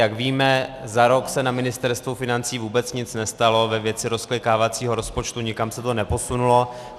Jak víme, za rok se na Ministerstvu financí vůbec nic nestalo ve věci rozklikávacího rozpočtu, nikam se to neposunulo.